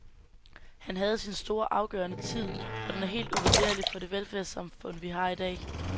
Han havde sin store, afgørende tid, og den er helt uvurderlig for det velfærdssamfund, vi har i dag.